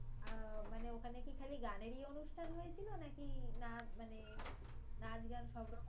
আহ মানে ওখানে কি খালি গানেরই অনুষ্ঠান হয়েছিল? নাকি নাচ মানে নাচ গান সব রকম